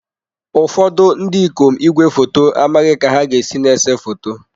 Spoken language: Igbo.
Ụfọdụ ndị ikom igwefoto amaghị ka ha ga-esi na-ese foto.